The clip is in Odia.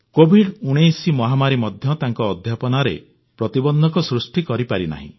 କୋଭିଡ 19 ମହାମାରୀ ମଧ୍ୟ ତାଙ୍କ ଅଧ୍ୟାପନାରେ ପ୍ରତିବନ୍ଧକ ସୃଷ୍ଟି କରିପାରିନାହିଁ